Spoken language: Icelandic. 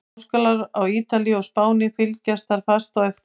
Háskólar á Ítalíu og Spáni fylgja þar fast á eftir.